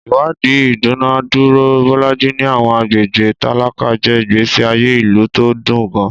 Ìwádìí ìdúnàádúrà Bolaji ní àwọn agbègbè tálákà jẹ́ ìgbésí ayé ìlú tó dùn gan-an.